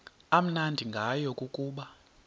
amnandi ngayo kukuba